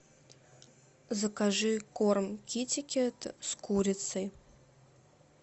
закажи корм китикет с курицей